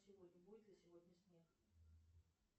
сегодня будет ли сегодня снег